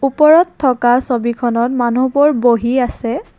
ওপৰত থকা ছবিখনত মানুহবোৰ বহি আছে।